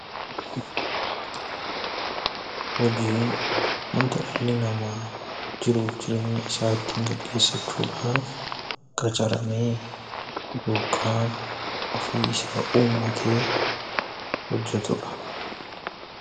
Hojiin wanta dhalli namaa jiruuf jireenya isaa ittiin gaggeessachuudhaaf qacaramee yookaan ofii isaa uummatee hojjatudha.